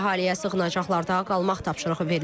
Əhaliyə sığınacaqlarda qalmaq tapşırığı verilib.